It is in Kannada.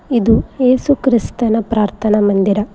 ಇದು ಎಸು ಕ್ರಿಸ್ತನ ಪ್ರಾರ್ತನಾ ಮಂದಿರ.